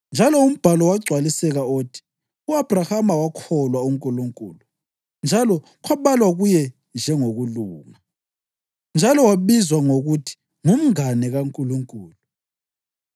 Njalo umbhalo wagcwaliseka othi, “U-Abhrahama wakholwa uNkulunkulu, njalo kwabalwa kuye njengokulunga,” + 2.23 UGenesisi 15.6 njalo wabizwa ngokuthi ngumngane kaNkulunkulu.